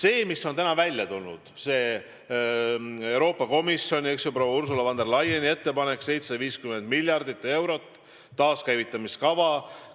Euroopa Komisjon on välja tulnud proua Ursula von der Leyeni ettepanekuga eraldada 750 miljardit eurot taaskäivitamiskava elluviimiseks.